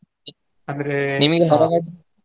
ಅಂದ್ರೆ .